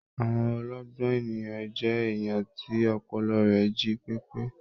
Àwọn ọlọgbọn ènìyàn jẹ èèyàn tí ọpọlọ rẹ jí pepe.